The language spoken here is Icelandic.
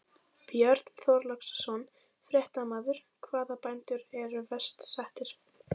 Björn Þorláksson, fréttamaður: Hvaða bændur eru verst settir?